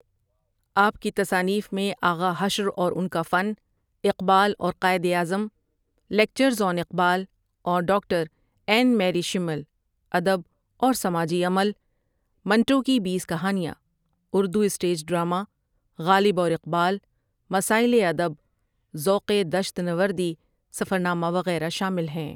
آپ کی تصانیف میں آغا حشر اور ان کا فن ، اقبال اور قائد اعظم، لیکچرز آن اقبال اور ڈاکٹر این میری شمل، ادب اور سماجی عمل، منٹو کی بیس کہانیاں، اُردو سٹیج ڈرامہ، غالب اور اقبال، مسائل ادب، ذوق دشت نوردی سفرنامہ وغیرہ شامل ہیں ۔